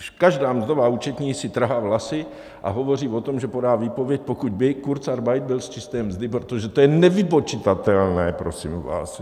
Každá mzdová účetní si trhá vlasy a hovoří o tom, že podá výpověď, pokud by kurzarbeit byl z čisté mzdy, protože to je nevypočitatelné, prosím vás.